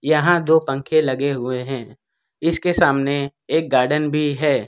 यहां दो पंखे लगे हुए हैं इसके सामने एक गार्डन भी है।